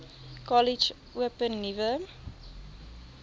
kollege open nuwe